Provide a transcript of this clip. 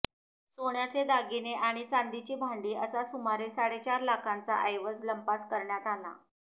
सोन्याचे दागिने आणि चांदीची भांडी असा सुमारे साडेचार लाखांचा ऐवज लंपास करण्यात आला